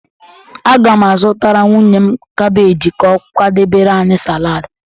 Aga m azụtara nwunye m kabeeji ka ọ kwadebere anyị salad